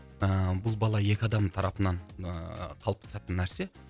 ііі бұл бала екі адамның тарапынан ыыы қалыптасатын нәрсе